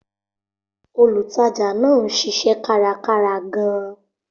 Olùtajà náà ń ṣiṣẹ́ kárakára gan-an.